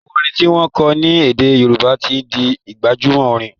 àwọn orin ti wón kò ní ede Yoruba tí ń dì gbajúmò Orin.